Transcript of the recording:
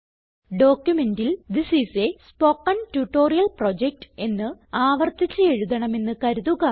ഡോക്യുമെന്റിൽ this is a spoken tutorial project എന്ന് ആവർത്തിച്ച് എഴുതണമെന്ന് കരുതുക